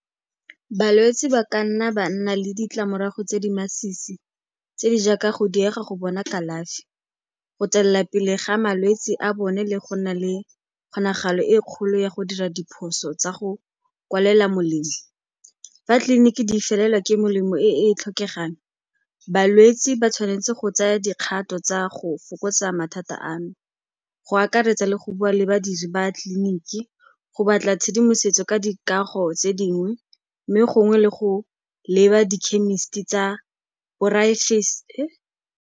Balwetse ba ka nna ba nna le ditlamorago tse di masisi tse di jaaka go diega go bona kalafi, go tswelela pele ga malwetse a bone le go nna le kgonagalo e kgolo ya go dira diphoso tsa go kwalela molemo. Fa 'tliliniki di felelwa ke melemo e e tlhokegang, balwetse ba tshwanetse go tsaya dikgato tsa go fokotsa mathata ano, go akaretsa le go bua le badiri ba tleliniki, go batla tshedimosetso ka dikago tse dingwe mme gongwe le go leba di-chemist-i tsa .